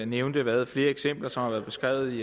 nævnte været flere eksempler som har været beskrevet